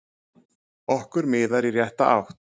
Okkur miðar í rétta átt